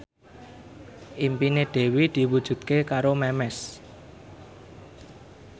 impine Dewi diwujudke karo Memes